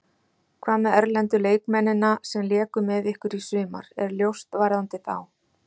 Hvað með erlendu leikmennina sem léku með ykkur í sumar, er ljóst varðandi þá?